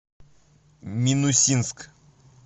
минусинск